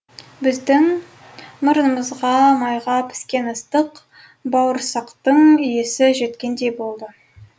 біздің мұрнымызға майға піскен ыстық бауырсақтың иісі жеткендей болды